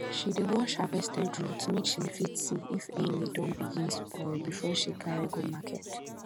she dey wash harvested root make she fit see if any don begin spoil before she carry go market